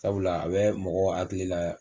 Sabula a bɛ mɔgɔw hakili la